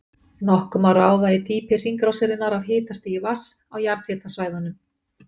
Nokkuð má ráða í dýpi hringrásarinnar af hitastigi vatns á jarðhitasvæðunum.